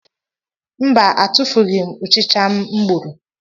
Mba etufughim Ụchịcha m gburu.